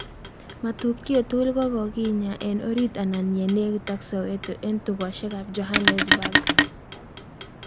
Matukio tigul kokikinya en orit anan nyenekit ak soweto en tukoshek ap jonanesburgh